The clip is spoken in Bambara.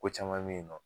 Ko caman bɛ yen nɔ